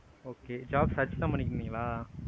okay job search தான் பண்ணிங்களா?